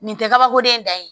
Nin tɛ kabako de da yen